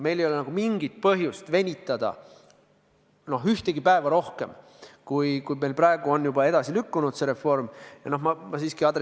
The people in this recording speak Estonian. Meil ei ole mingit põhjust venitada ühtegi päeva rohkem, kui meil praegu on juba reform edasi lükkunud.